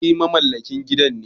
Ai mamallakin gidan ne.